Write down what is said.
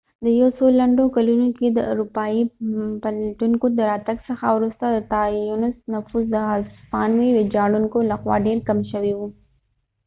د یو څو لنډو کلونو کې د اروپایې پلټونکو د راتګ څخه وروسته د تاینوس نفوس د هسپانوي ويجاړونکو له خوا ډیر کم شوي و